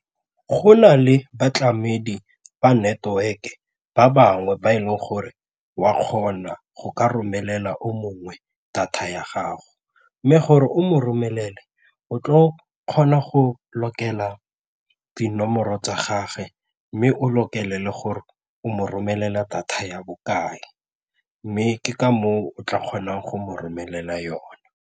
Go na le batlamedi ba network-e ba bangwe ba e leng gore wa kgona go ka romelela o mongwe data ya gago mme gore o mo romelele o tlo kgona go lokela dinomoro tsa gagwe mme o lokele le gore o mo romelela data ya bokae mme ke ka moo o tla kgonang go mo romelela yone.